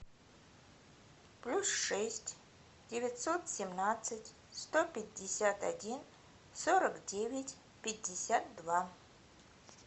плюс шесть девятьсот семнадцать сто пятьдесят один сорок девять пятьдесят два